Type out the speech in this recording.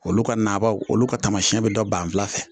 Olu ka naabaw olu ka taamasiyɛn be dɔn banfula fɛ.